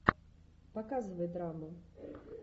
показывай драму